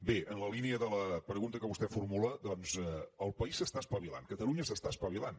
bé en la línia de la pregunta que vostè formula doncs el país s’està espavilant catalunya s’està espavilant